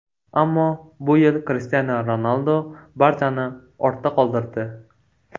Ammo bu yil Krishtianu Ronaldu barchani ortda qoldirdi.